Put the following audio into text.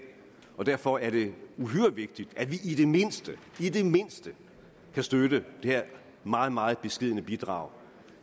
og derfor er det uhyre vigtigt at vi i det mindste i det mindste kan støtte det her meget meget beskedne bidrag